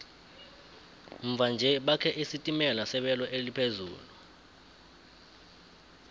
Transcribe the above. mva nje bakhe isitimela sebelo eliphezulu